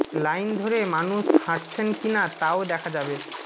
line ধরে মানুষ হাঁটছেন কি না তাও দেখা যাবে